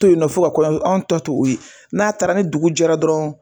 To yen nɔ fɔ ka kɔɲɔn, anw ta tɔ o ye, n'a taara ni dugu jɛra dɔrɔn.